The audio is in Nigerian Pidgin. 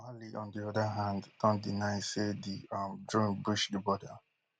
mali on di oda hand don deny say di um drone breach di border